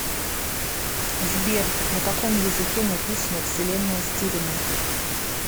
сбер на каком языке написано вселенная стивена